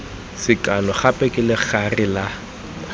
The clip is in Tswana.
sekano gape ke legare la